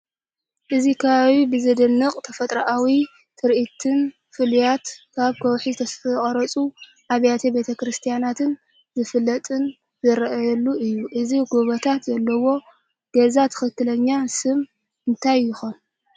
እዚ ከባቢ ብዘደንቕ ተፈጥሮኣዊ ትርኢትን ፍሉያት ኣብ ከውሒ ዝተቐርጹ ኣብያተ ክርስትያናትን ዝፍለጥን ዝረአየሉ እዩ። እዘን ጎቦታት ዘለዋ ገዛ ትኽክለኛ ስም እንታይ ይኾና?